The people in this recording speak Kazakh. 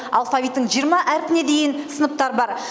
алфавиттің жиырма әрпіне дейін сыныптар бар